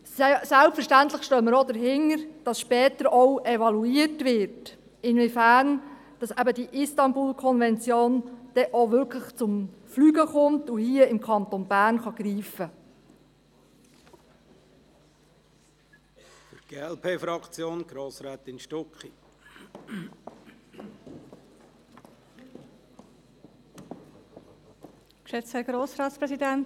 Selbstverständlich stehen wir auch dahinter, dass später auch evaluiert wird, inwiefern die Istanbul-Konvention auch wirklich zum Fliegen kommt und hier im Kanton Bern greifen kann.